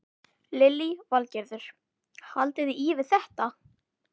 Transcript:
Lillý Valgerður: Haldiði í við þetta?